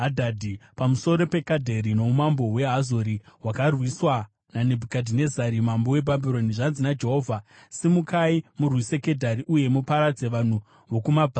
Pamusoro peKedhari noumambo hweHazori, hwakarwiswa naNebhukadhinezari mambo weBhabhironi: Zvanzi naJehovha: “Simukai, murwise Kedhari uye muparadze vanhu vokuMabvazuva.